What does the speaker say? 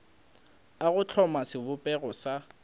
a go hloma sebopego sa